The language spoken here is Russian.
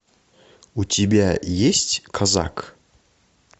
у тебя есть казак